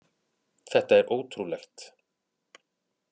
Þetta er ótrúlegt!